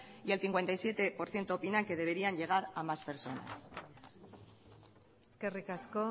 y el cincuenta y siete por ciento opina que deberían llegar a más personas eskerrik asko